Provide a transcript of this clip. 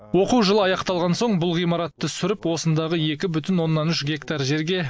оқу жылы аяқталған соң бұл ғимаратты сүріп осындағы екі бүтін оннан үш гектар жерге